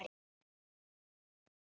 Og hitt borðið?